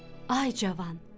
Ay, cavan!